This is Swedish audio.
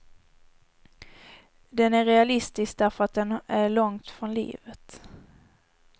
Den är realistisk därför att den är långt från livet.